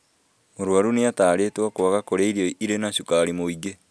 Mũrwaru nĩatarĩtwo kwaga kũria irio irĩ na cukari mũingĩ